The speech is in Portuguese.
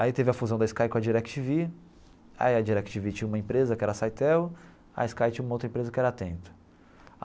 Aí teve a fusão da Sky com a Direc Tí Ví, aí a Direc Tí Ví tinha uma empresa que era a Cytel, a Sky tinha uma outra empresa que era a Atento.